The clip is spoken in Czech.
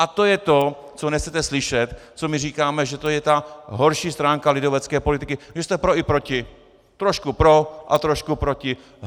A to je to, co nechcete slyšet, co my říkáme, že to je ta horší stránka lidovecké politiky, že jste pro i proti, trošku pro a trošku proti.